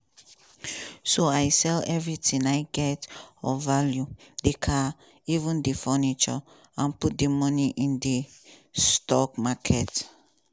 so i sell everything i get of value di car even di furniture and put di money in di stock market.